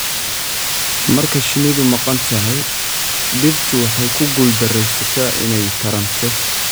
Marka shinnidu maqan tahay, dhirtu waxay ku guuldareysataa inay taranto.